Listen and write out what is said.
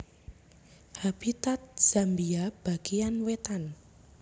Habitat Zambia bagéyan wétan